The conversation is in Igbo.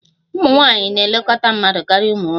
Ụmụ nwanyị na-elekọta mmadụ karịa ụmụ nwoke